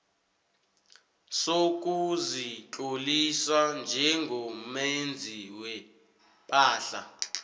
sokuzitlolisa njengomenzi wepahla